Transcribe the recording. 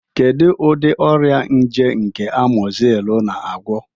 Kedu ụdị ọrịa nje nke Amozinu na-agwọ?